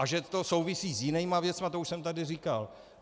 A že to souvisí s jinými věcmi, to už jsem tady říkal.